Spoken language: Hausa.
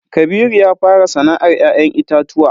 Kabiru ya fara sana'ar ya'yan itatuwa.